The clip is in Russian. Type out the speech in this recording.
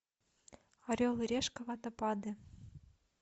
орел и решка водопады